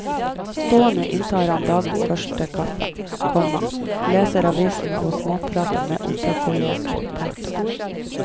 Stående inntar han dagens første kaffe, komma leser aviser og småprater med operakolleger. punktum